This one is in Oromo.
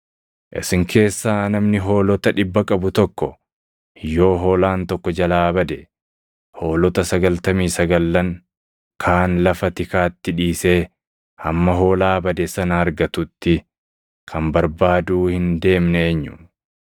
“Isin keessaa namni hoolota dhibba qabu tokko yoo hoolaan tokko jalaa bade, hoolota sagaltamii sagallan kaan lafa tikaatti dhiisee hamma hoolaa bade sana argatutti kan barbaaduu hin deemne eenyu?